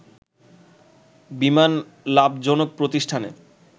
বিমান লাভজনক প্রতিষ্ঠানে